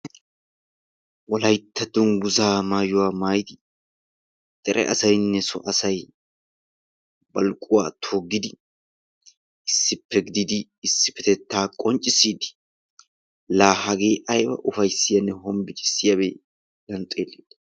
Wolaytta dungguzaa maayuwa maayidi dere asayinne so asayi baluquwa toggidi issippe gididi isdippetettaa qonccissiiddi la hagee ayiba ufayissiyaanne hombocissiyabe.